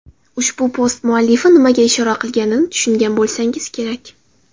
Ushbu post muallifi nimaga ishora qilganini tushungan bo‘lsangiz kerak.